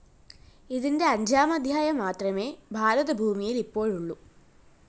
ഇതിന്റെ അഞ്ചാമദ്ധ്യായം മാത്രമേ ഭാരതഭൂമിയില്‍ ഇപ്പോഴുള്ളൂ